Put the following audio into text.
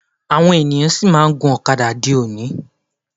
Àwọn ènìyàn sì máa ń gun ọ̀kadà di òní. máà ń